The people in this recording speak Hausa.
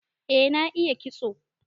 Eh na iya kitso.